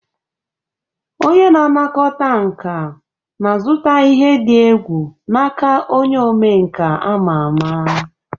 Onye na-anakọta nka na-azụta ihe dị egwu n'aka onye omenkà ama ama.